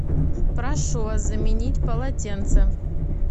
прошу вас заменить полотенце